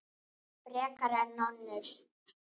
Frekar en önnur.